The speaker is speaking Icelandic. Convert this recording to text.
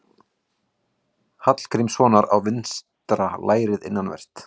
Hallgrímssonar á vinstra lærið innanvert.